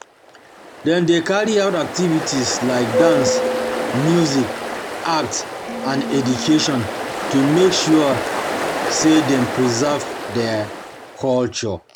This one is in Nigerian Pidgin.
Dem de carry out activities like dance music art and education to make sure say them preserve thier culture